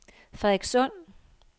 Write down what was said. Frederikssund